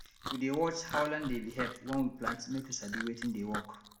we dey watch how land dey behave when we plant make we sabi wetin dey work